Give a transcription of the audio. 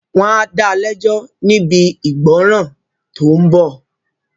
Wọ́n á da lẹ́jọ́ níbi ìgbọ́nràn tó ń bọ̀